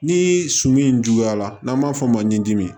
Ni sɔ min juguyara n'an b'a fɔ o ma ɲi dimi